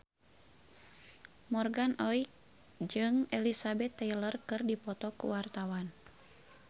Morgan Oey jeung Elizabeth Taylor keur dipoto ku wartawan